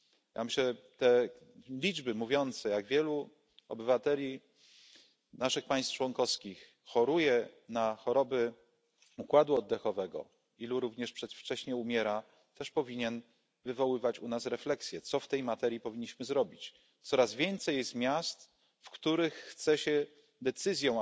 Ja myślę, że te liczby mówiące jak wielu obywateli naszych państw członkowskich choruje na choroby układu oddechowego, ilu również przedwcześnie umiera, też powinny wywoływać u nas refleksję, co w tej materii powinniśmy zrobić. Coraz więcej jest miast, w których chce się decyzją